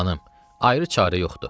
Xanım, ayrı çarə yoxdur.